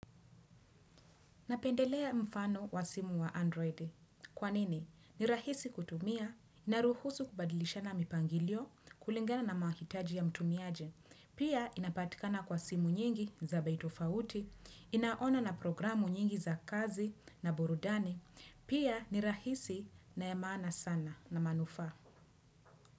Napendelea mfano wa simu wa Android. Kwanini? Ni rahisi kutumia, naruhusu kubadilishana mipangilio kulingana na mahitaji ya mtumiaji, pia inapatikana kwa simu nyingi za bei tofauti, ina ono na programu nyingi za kazi na burudani, pia ni rahisi na ya maana sana na manufaa.